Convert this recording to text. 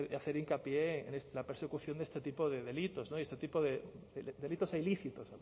hacer hincapié en la persecución de este tipo de delitos delitos ilícitos